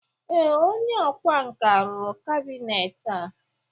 ee, onye ọkwá nkà rụrụ kabinet a